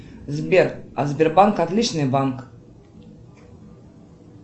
сбер а сбербанк отличный банк